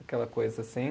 Aquela coisa assim.